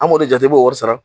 An b'o de jate i b'o wɔri sara.